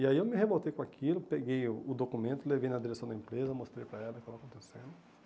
E aí eu me revoltei com aquilo, peguei o o documento, levei na direção da empresa, mostrei para ela o que estava acontecendo.